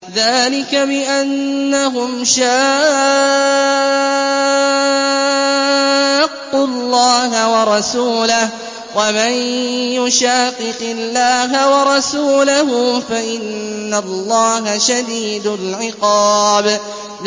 ذَٰلِكَ بِأَنَّهُمْ شَاقُّوا اللَّهَ وَرَسُولَهُ ۚ وَمَن يُشَاقِقِ اللَّهَ وَرَسُولَهُ فَإِنَّ اللَّهَ شَدِيدُ الْعِقَابِ